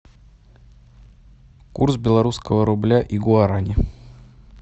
курс белорусского рубля и гуарани